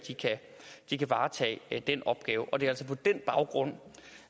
de kan varetage den opgave og det er på den baggrund